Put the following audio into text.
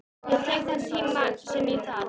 Ég tek þann tíma sem ég þarf.